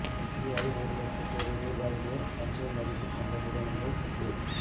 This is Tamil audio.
இந்தியாவில் ஒரு லட்சம் கோடி ரூபாய்க்கு மேல் சந்தை மதிப்பு கொண்ட நிறுவனங்கள் பட்டியல்